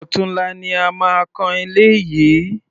Ọ̀tunla ni a máa kan ilé yìí.